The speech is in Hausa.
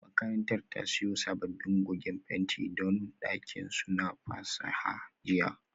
Makarantar ta siyo sabbin goge fenti don dakin su na fasaha jiya